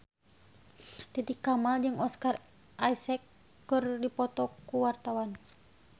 Titi Kamal jeung Oscar Isaac keur dipoto ku wartawan